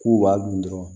K'u b'a dun dɔrɔn